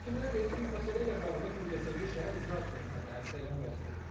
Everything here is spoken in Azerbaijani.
Sakinlər deyir ki, məsələ ilə bağlı Mingəçevir Şəhər İcra Hakimiyyətinə də ərizə ilə müraciət ediblər.